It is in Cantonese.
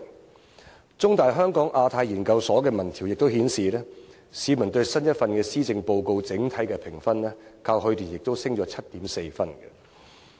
香港中文大學香港亞太研究所的民調亦顯示，市民對新一份施政報告的整體評分，較去年上升 7.4 分。